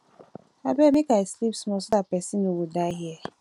abeg make i sleep small so dat person no go die here